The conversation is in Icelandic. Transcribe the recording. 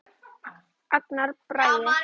Agnar Bragi.